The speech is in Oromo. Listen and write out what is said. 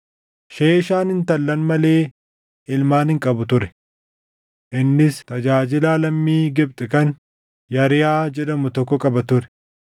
Sheeshaan intallan malee ilmaan hin qabu ture. Innis tajaajilaa lammii Gibxi kan Yarihaa jedhamu tokko qaba ture.